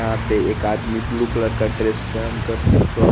यहा पे एक आदमी ब्लू कलर का ड्रेस पेन कर पेट्रोल --